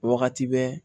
Wagati bɛɛ